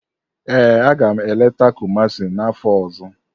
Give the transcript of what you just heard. Ee, agam eleta Kumasi n'afọ ọzọ.